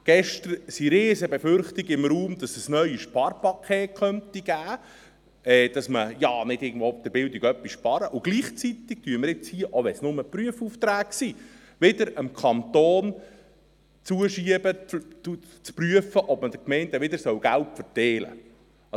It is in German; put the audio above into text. Gestern standen riesen Befürchtungen im Raum, dass es neue Sparpakete geben könnte, dass man an der Bildung nicht sparen sollte, und gleichzeitig, auch wenn es nur Prüfaufträge sind, schieben wir dem Kanton wieder zu, zu prüfen, ob man wieder Geld an die Gemeinden verteilen soll.